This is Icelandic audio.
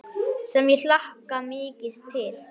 Sem ég hlakka mikið til.